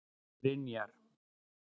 Brynjar